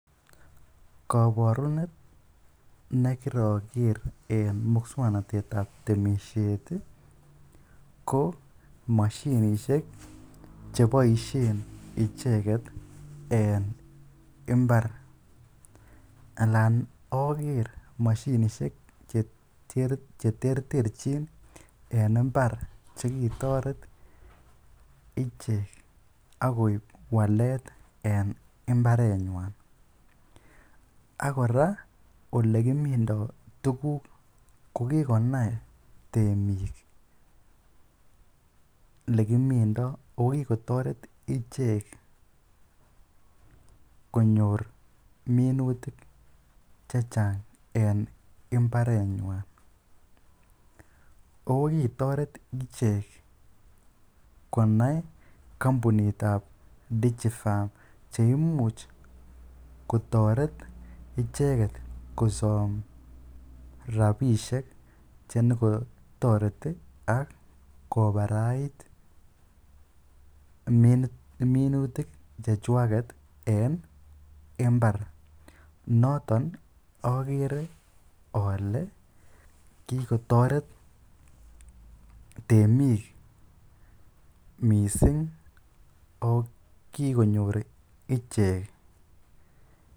Koborunet ne kiroker en moswoknatet ab temisiet ko moshinishe che boisien icheget en mbar alan oger moshinishek che terterchin en mbar che kitoret ichek ak koib walet en mbarenywan. Ak kora ole kimindo tuguk, ko kigonai temik ele kimindo ago kigotoret ichek konyor minutik che chang en mbarenywan. Ago kitoret ichek konai kampunit ab Digifarm che imuch kotoret icheget kosom rabishek che nyo kotoreti ak kobarait minutik che chwaget en mbar. Noton ogere ole kigotoret temik mising ak kigonyor ichek.